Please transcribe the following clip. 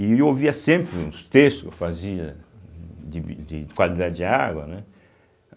E eu ouvia sempre os textos que eu fazia de bi de de qualidade de água, né?